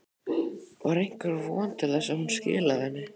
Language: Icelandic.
Var einhver von til þess að hún skilaði henni?